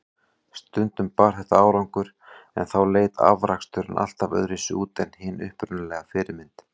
Stundum bar þetta árangur, en þá leit afraksturinn alltaf öðruvísi út en hin upprunalega fyrirmynd.